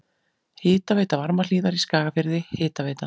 Hitaveita Varmahlíðar í Skagafirði, Hitaveita